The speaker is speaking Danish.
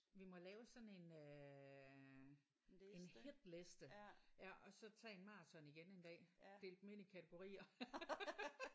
Vi må lave sådan en øh en hitliste ja og så tage en maraton igen en dag. Dele dem ind i kategorier